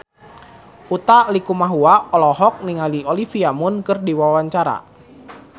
Utha Likumahua olohok ningali Olivia Munn keur diwawancara